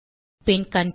பின் control